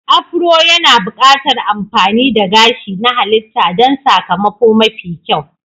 Afro yana buƙatar amfani da gashi na halitta don sakamako mafi kyau.